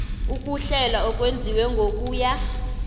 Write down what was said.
ukuhlela okwenziwe ngokuya